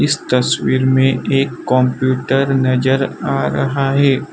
इस तस्वीर में एक कंप्यूटर नजर आ रहा है।